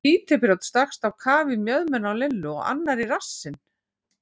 Títuprjónn stakkst á kaf í mjöðmina á Lillu og annar í rassinn.